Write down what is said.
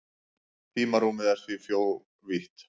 Tímarúmið er því fjórvítt.